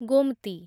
Gomti